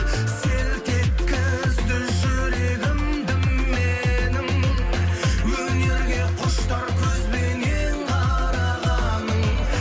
селт еткізді жүрегімді менің өнерге құштар көзбенен қарағаның